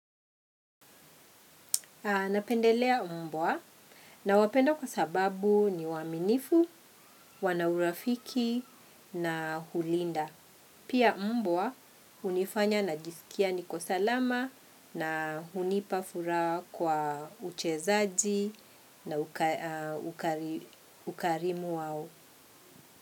Napendelea mbwa nawapenda kwa sababu ni waaminifu, wana urafiki na hulinda. Pia mbwa unifanya najisikia niko salama na hunipa furaha kwa uchezaji na ukarimu wao.